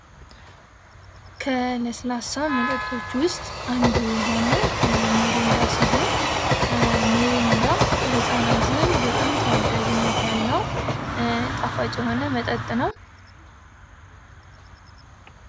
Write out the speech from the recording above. ከ ለስላሳ መጠጦች ውስጥ አንዱ የሆነው ሚሪንዳ ሲሆን፤ ሚሪንዳ በሕፃናት ዘንድ በጣም ተወዳጅነት ያለው ጣፋጭ የሆነ መጠን ነው።